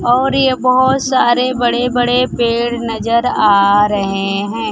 और ये बहोत सारे बड़े बड़े पेड़ नजर आ रहे हैं।